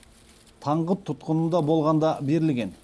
таңғұт тұтқынында болғанда берілген